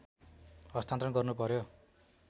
हस्तान्तरण गर्नु पर्‍यो